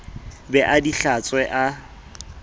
be a di hlatswe a